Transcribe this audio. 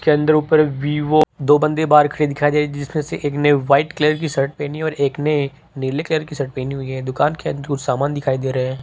दो बंदे बाहर खड़े दिखाई दे रहे हैं जिसमें से एक ने व्हाइट कलर की शर्ट पहनी है और एक ने नीले कलर की शर्ट पहनी हुई है दुकान के अंदर कुछ सामान दिखाई दे रहे हैं।